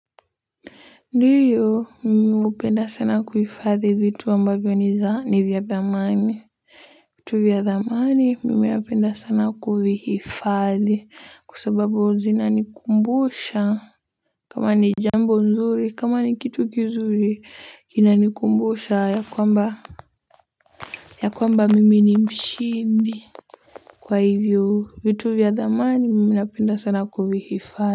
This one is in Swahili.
Ndiyo mimi hupenda sana kuhifadhi vitu ambavyo niza nivyadhamani vitu vyadhamani mimi napenda sana kuvihifadhi kwa sababu zinanikumbusha kama ni jambo nzuri kama ni kitu kizuri kinanikumbusha yakwamba yakwamba mimi ni mshindi kwa hivyo vitu vya dhamani mimi napenda sana kuvihifadhi.